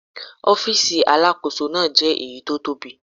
Ọ́fíìsì Alákóso náà jẹ́ èyí tó tóbi.